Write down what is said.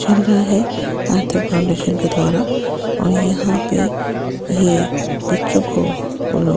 चल रहा है आस्था फाउंडेशन के द्वारा और यहाँ पे ये बच्चो को --